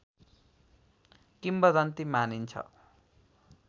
किम्बदन्ती मानिन्छ